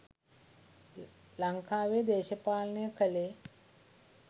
ලංකාවෙ දේශපාලනය කළේ